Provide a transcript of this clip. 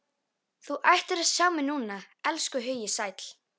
Þú ættir að sjá mig núna, elskhugi sæll.